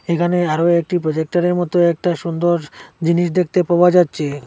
এখানে আরও একটি প্রজেক্টারের মতো একটা সুন্দর জিনিস দেখতে পাওয়া যাচ্ছে।